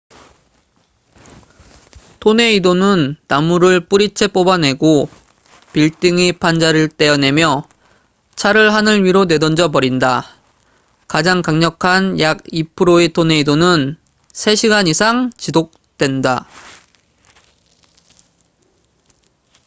토네이도는 나무를 뿌리채 뽑아내고 빌딩의 판자를 떼어내며 차를 하늘 위로 내던져 버린다. 가장 강력한 약 2%의 토네이도는 3시간 이상 지속된다